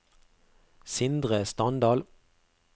Sindre Standal